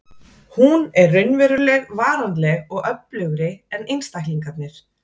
Hún er raunveruleg, varanleg og öflugri en einstaklingarnir.